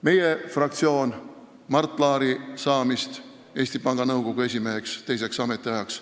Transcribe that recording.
Meie fraktsioon ei toeta kindlameelselt Mart Laari saamist Eesti Panga Nõukogu esimeheks teiseks ametiajaks.